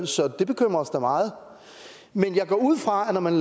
så det bekymrer os da meget men jeg går ud fra at når man